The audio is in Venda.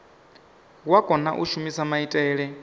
wa kona u shumisa maitele